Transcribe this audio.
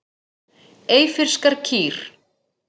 Eyfirskar kýr.